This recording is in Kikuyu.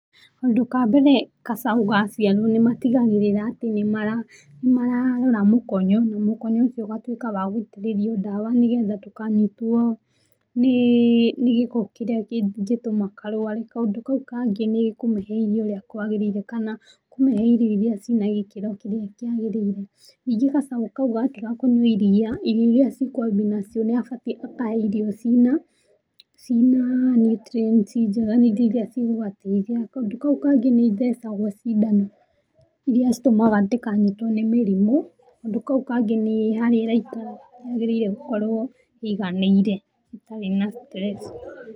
Kaũndũ ka mbere gacaũ gaciarwo nĩmatigagĩrĩra atĩ nĩmararona mũkonyo, mũkonyo ũcio ũgatuĩka wagũitĩrĩrio ndawa, nĩgetha ndũkanĩtwo nĩ gĩko kĩrĩa kĩngĩtũma karware. Kaũndũ kau kangĩ nĩ kũmĩhe irio ũrĩa kwagĩrĩire kana kũmĩhe irio irĩa cina gĩkĩro kĩrĩa kĩagĩrĩire. Nĩngĩ gacaũ kau gatiga kũnyua iria, irio irĩa cikũambia nacio nĩ abatiĩ akahe irio ci na ci na nutrients njega , irio ci gũgateithia. Kaũndũ kau kangĩ nĩ ithecagwo cindano, irĩa citũmaga ndĩkanyitwo nĩ mĩrimũ. Kaũndũ kau kangĩ nĩ harĩa ĩraikara, yagĩrĩirwo gũkorwo ĩiganĩire, itarĩ na stress.